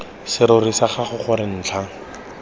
serori sa gago gore ntlha